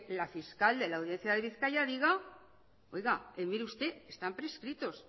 la fiscal de la audiencia de bizkaia diga oiga mire usted están prescritos